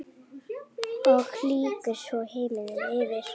Og lýkur svo: Himinn yfir.